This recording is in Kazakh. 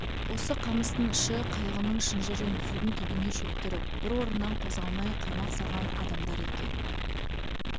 осы қамыстың іші қайығының шынжырын судың түбіне шөктіріп бір орыннан қозғалмай қармақ салған адамдар екен